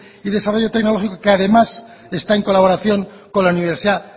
y desarrollo tecnológico que además está en colaboración con la universidad